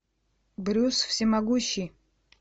брюс всемогущий